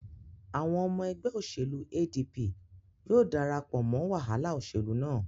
Àwọn ọmọ ẹgbẹ òṣèlú ADP yóò darapọ̀ mọ wàhálà òṣèlú náà.